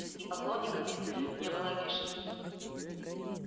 и поклонниками не была обижена